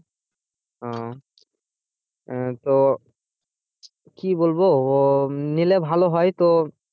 ও আহ তো কি বলবো ও নিলে ভালো হয় তো,